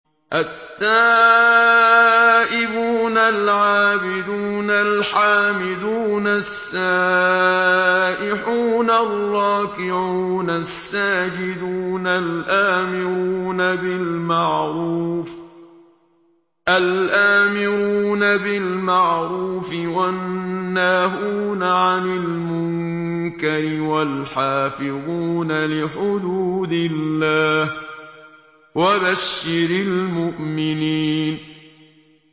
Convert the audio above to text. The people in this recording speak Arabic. التَّائِبُونَ الْعَابِدُونَ الْحَامِدُونَ السَّائِحُونَ الرَّاكِعُونَ السَّاجِدُونَ الْآمِرُونَ بِالْمَعْرُوفِ وَالنَّاهُونَ عَنِ الْمُنكَرِ وَالْحَافِظُونَ لِحُدُودِ اللَّهِ ۗ وَبَشِّرِ الْمُؤْمِنِينَ